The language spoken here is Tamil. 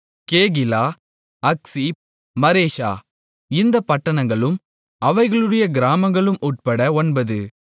கேகிலா அக்சீப் மரேஷா இந்தப் பட்டணங்களும் அவைகளுடைய கிராமங்களும் உட்பட ஒன்பது